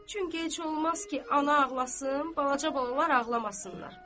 Çünki heç olmaz ki, ana ağlasın, balaca balalar ağlamasınlar.